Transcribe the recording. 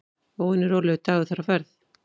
Óvenju rólegur dagur þar á ferð.